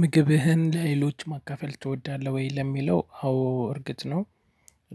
ምግብህን ለሌሎች ማካፈል ትወዳለህ ወይ? ለሚለው አዎ እርግጥ ነው።